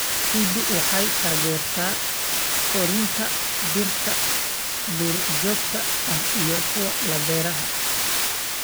Ciiddu waxay taageertaa koritaanka dhirta duurjoogta ah iyo kuwa la beeray.